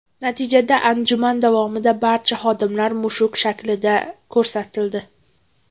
Natijada anjuman davomida barcha xodimlar mushuk shaklida ko‘rsatildi.